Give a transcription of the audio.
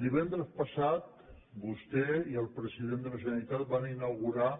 divendres passat vostè i el president de la generalitat van inaugurar